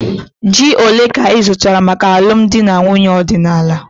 Ji ole ka ị zụtara maka alụmdi na nwunye ọdịnala?